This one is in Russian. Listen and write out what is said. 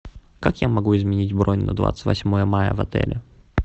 как я могу изменить бронь на двадцать восьмое мая в отеле